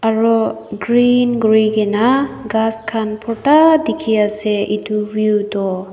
aro green kuri kina ghas khan borta dikhi ase etu veiw tho.